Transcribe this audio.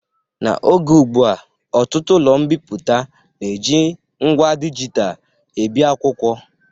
N'oge ụgbụa, ọtụtụ ụlọ mbipụta na-eji ngwa dịgital ebi akwụkwọ